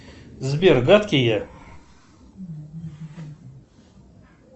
сбер гадкий я